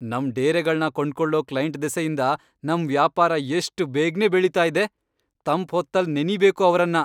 ನಮ್ ಡೇರೆಗಳ್ನ ಕೊಂಡ್ಕೊಳೋ ಕ್ಲೈಂಟ್ ದೆಸೆಯಿಂದ ನಮ್ ವ್ಯಾಪಾರ ಎಷ್ಟ್ ಬೇಗ್ನೇ ಬೆಳೀತಾ ಇದೆ.. ತಂಪ್ ಹೊತ್ತಲ್ ನೆನಿಬೇಕು ಅವ್ರನ್ನ.